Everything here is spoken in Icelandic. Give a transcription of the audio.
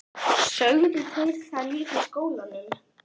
Sögðu þeir það líka í skólanum?